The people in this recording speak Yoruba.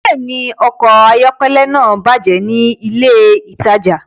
Bẹ́ẹ̀ni, ọkọ̀ ayọ́kẹ́lẹ́ náà bàjẹ́ ní ilé-ìtajà.